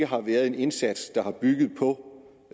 har været en indsats der byggede på